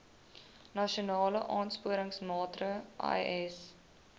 nasionale aansporingsmaatre ls